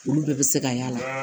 Olu bɛɛ bɛ se ka y'a la